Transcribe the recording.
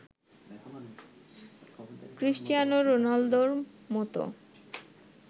Cristiano রোনালদোর মতো